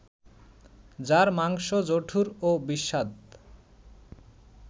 যার মাংস জঠুর ও বিস্বাদ